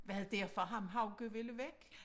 Var det derfor ham Hauge ville væk?